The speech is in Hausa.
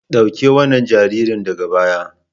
Dauki wannan jaririn daga baya.